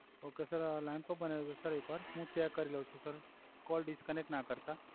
okay sir line પર બન્યા રેજો સર એક વાર હુ ચેક કરી લવ છુ સર કોલ ડીસ્કનેકટ ના કર્તા